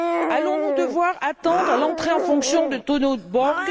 Allons nous devoir attendre l'entrée en fonction de Tonio Borg?